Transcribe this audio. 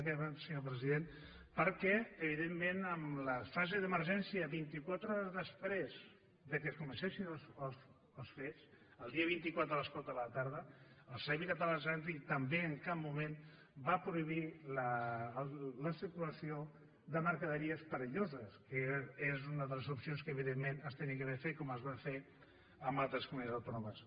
i ara acabo senyor president evidentment en la fase d’emergència vintiquatre hores després que comencessin els fets el dia vint quatre a les quatre de la tarda el servei català de trànsit tampoc en cap moment va prohibir la circulació de mercaderies perilloses que és una de les opcions que evidentment s’havia d’haver fet com es va fer en altres comunitats autònomes